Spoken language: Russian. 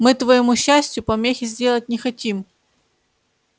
мы твоему счастью помехи сделать не хотим